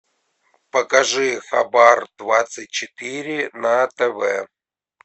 покажи хабар двадцать четыре на тв